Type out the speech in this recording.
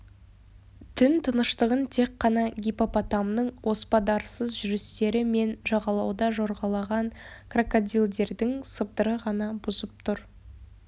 түн тыныштығын тек қана гиппопотамның оспадарсыз жүрістері мен жағалауда жорғалаған крокодилдердің сыбдыры ғана бұзып тұр